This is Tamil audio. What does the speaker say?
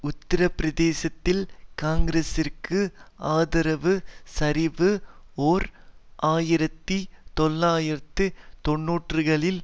உத்தர பிரதேசத்தில் காங்கிரஸிற்கு ஆதரவு சரிவு ஓர் ஆயிரத்தி தொள்ளாயிரத்து தொன்னூறுகளில்